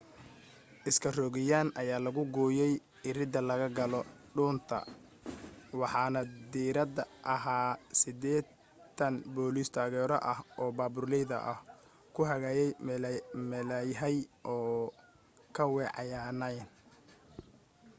iskarogooyin ayaa lagu gooyay iridda laga galo dhuunta waxaana diyaar ahaa 80 booliis taageero ah oo baabuurleyda ah ku hagayay meelahay ka weecanayaan